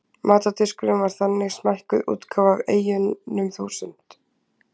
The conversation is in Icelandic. matardiskurinn væri þannig smækkuð útgáfa af eyjunum þúsund